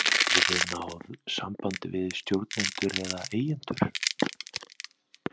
Hafið þið náð sambandi við stjórnendur eða eigendur?